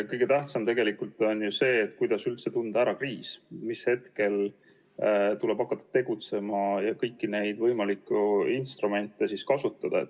Kõige tähtsam tegelikult on ju see, kuidas üldse tunda ära kriis, mis hetkel tuleb hakata tegutsema ja kõiki neid võimalikke instrumente kasutama.